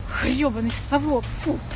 ебанный савок фу